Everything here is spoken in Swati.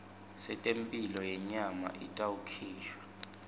setemphilo yenyama itawukhishwa